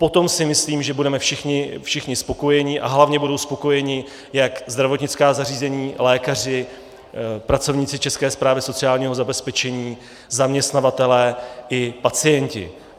Potom si myslím, že budeme všichni spokojeni a hlavně budou spokojeni jak zdravotnická zařízení, lékaři, pracovníci České správy sociálního zabezpečení, zaměstnavatelé i pacienti.